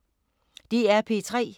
DR P3